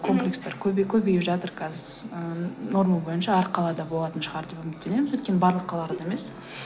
комплекстер көбейіп жатыр қазір ы норма бойынша әр қалада болатын шығар деп үміттенеміз өйткені барлық қалаларда емес